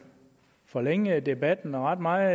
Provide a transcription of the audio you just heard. forlænge debatten ret meget